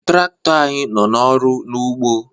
Trakto anyị nọ n'ọrụ n'ugbo